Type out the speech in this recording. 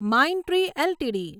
Mindtree LTD